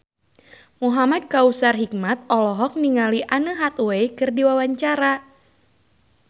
Muhamad Kautsar Hikmat olohok ningali Anne Hathaway keur diwawancara